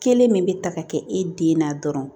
Kelen min bɛ ta ka kɛ e den na dɔrɔn